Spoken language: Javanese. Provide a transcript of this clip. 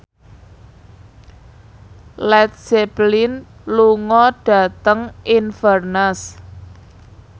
Led Zeppelin lunga dhateng Inverness